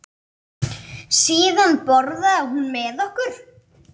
Síðan borðaði hún með okkur.